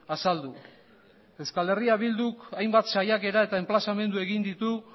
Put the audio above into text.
azaldu euskal herria bilduk hainbat saiakera eta enplazamendu egin ditu